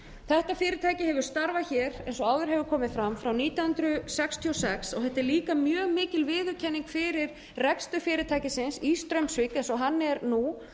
þetta fyrirtæki hefur starfað hér eins og áður hefur komið fram frá nítján hundruð sextíu og sex og þetta er líka mjög mikil viðurkenning fyrir rekstur fyrirtækisins í straumsvík eins og hann er nú